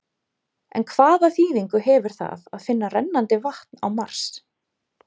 En hvaða þýðingu hefur það að finna rennandi vatn á Mars?